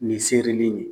Nin seere de ye